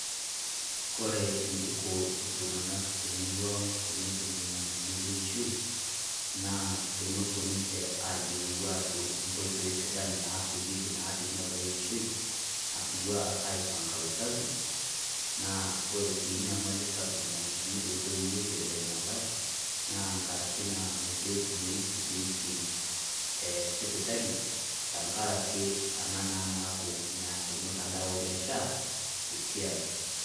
Kore neiko iltung'anak te murrua ang tenetum lng'anayio leishoi, naa tonopo ninchee aiyolou ajo nkooto sidaan naapoyeki naa tenia baye e ishoi, atua aipanga usasi. Naa kore sii nyamali sapuk naa etumiito ntoiwe epirita enya bayi naa nkaaraki naa meikoree etumoie siku hizi e sipitali tanga'araki ana naa naaku meaas ilmutandao le SHA esiai.